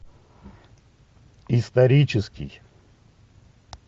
исторический